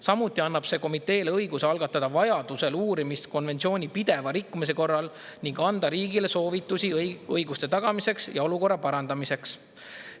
Samuti annab see komiteele õiguse algatada vajadusel uurimist konventsiooni pideva rikkumise korral ning anda riigile soovitusi õiguste tagamiseks ja olukorra parandamiseks.